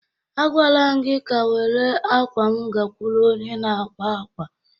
Agwaala m gị ka were akwa m gakwuru onye na-akwa akwa